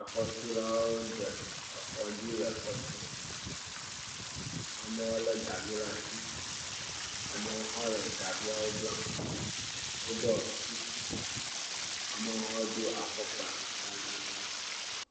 Xɔtulawo de exɔ dzi le exɔ tum, amewo lé gavi ɖe asi, amewo hã le gaviawo blam woɖɔ kuku, amewo hã do afɔkpa gãgãgãwo.